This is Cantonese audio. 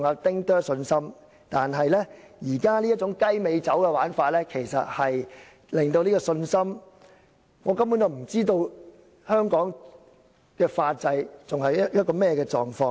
但現時這種"雞尾酒"的玩法，其實會令我們的信心動搖，因為我們根本不知道香港的法制正處於何種狀況。